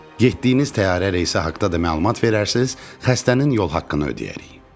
Getdiyiniz təyyarə reysi haqda da məlumat verərsiz, xəstənin yol haqqını ödəyərik.